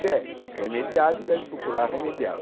Se é remediável, deve procurar remediá-la.